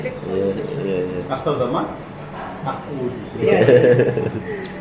иә иә иә ақтауда ма аққу